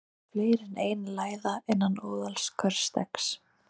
Oft eru fleiri en ein læða innan óðals hvers steggs.